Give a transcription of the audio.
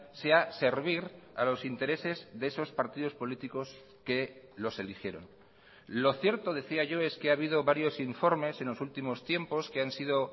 sea servir a los intereses de esos partidos políticos que los eligieron lo cierto decía yo es que ha habido varios informes en los últimos tiempos que han sido